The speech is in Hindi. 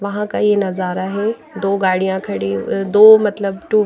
वहाँ का ये नज़ारा है दो गाड़ियाँ खड़ी अ दो मतलब टू --